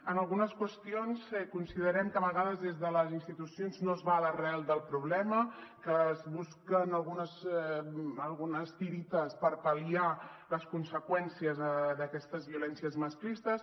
en algunes qüestions considerem que a vegades des de les institucions no es va a l’arrel del problema que es busquen algunes tiretes per pal·liar les conseqüències d’aquestes violències masclistes